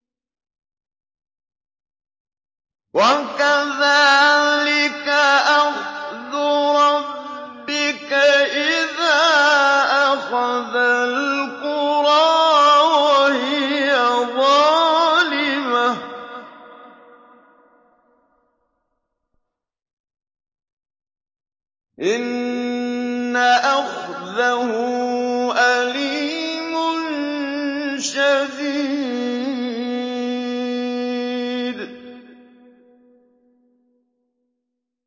وَكَذَٰلِكَ أَخْذُ رَبِّكَ إِذَا أَخَذَ الْقُرَىٰ وَهِيَ ظَالِمَةٌ ۚ إِنَّ أَخْذَهُ أَلِيمٌ شَدِيدٌ